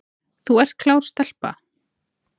Þú ert klár stelpa